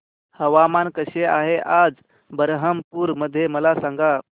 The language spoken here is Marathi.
हवामान कसे आहे आज बरहमपुर मध्ये मला सांगा